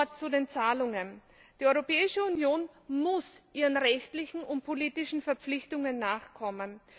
Noch ein Wort zu den Zahlungen Die Europäische Union muss ihren rechtlichen und politischen Verpflichtungen nachkommen.